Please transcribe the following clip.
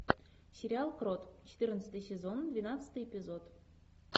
сериал крот четырнадцатый сезон двенадцатый эпизод